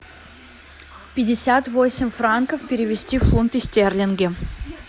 пятьдесят восемь франков перевести в фунты стерлинги